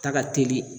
Ta ka teli